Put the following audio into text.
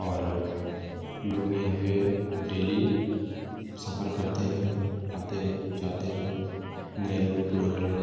और लोग यहां पे डेली सफ़र करते है आते है जाते है नये लोग पुरने लोग|